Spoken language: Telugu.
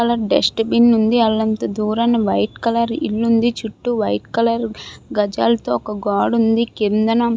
కలర్ డస్ట్ బిన్ ఉంది. అల్లంత దూరాన వైట్ కలర్ ఇల్లు ఉంది. చుట్టూ వైట్ కలర్ గజాలతో ఒక గోడ ఉంది. కిందన --